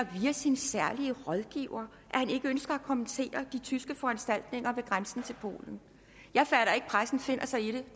via sin særlige rådgiver at han ikke ønskede at kommentere de tyske foranstaltninger ved grænsen til polen jeg fatter ikke at pressen finder sig i det